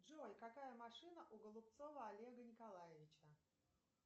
джой какая машина у голубцова олега николаевича